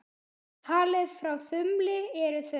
Talið frá þumli eru þau